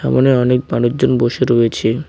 মনে অনেক মানুষজন বসে রয়েছে।